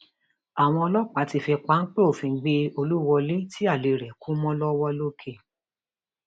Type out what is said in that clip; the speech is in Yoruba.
àwọn ọlọpàá ti fi pápẹ òfin gbé olúwọlé tí alẹ rẹ kú mọ lọwọ lọkẹ